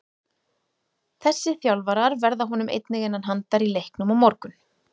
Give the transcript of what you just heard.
Þessi þjálfarar verða honum einnig innan handar í leiknum á morgun.